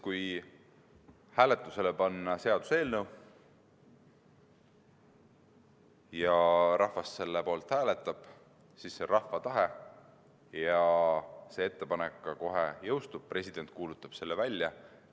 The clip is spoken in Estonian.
Kui hääletusele panna seaduseelnõu ja rahvas selle poolt hääletab, siis on see rahva tahe ja ettepanek jõustub kohe, president kuulutab selle välja.